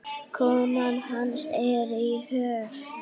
Konan hans er í Höfn.